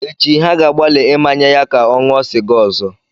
Echi, ha ga-agbalị ịmanye ya ka ọ ṅụọ sịga ọzọ.